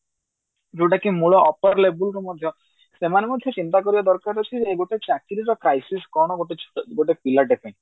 ଯୋଉଟା କି ମୂଳ upper label ରୁ ମଧ୍ୟ ସେମାନେ ମଧ୍ୟ ଚିନ୍ତା କରିବା ଦରକାର ଅଛି ଗୋଟେ ଚାକିରି ର crises କଣ ଗୋଟେ ଛୋ ଗୋଟେ ପିଲାଟେ ପାଇଁ